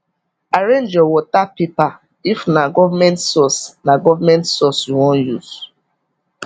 arrange your water paper if na government source na government source you wan use